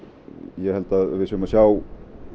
ég held að við séum að sjá